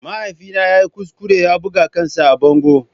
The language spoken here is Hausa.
Mahaifina ya yi kuskure ya buga kansa a bango.